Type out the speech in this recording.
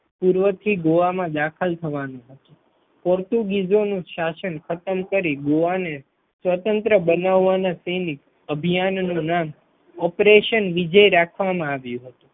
પૂર્વથી ગોવામાં દાખલ થવાનું પોર્ટુગીઝોનું શાસન ખતમ કરી ગોવા ને સ્વતંત્ર બનાવવાના સેનિક અભિયાનનું નામ Operation વિજય રાખવામાં આવ્યું હતું.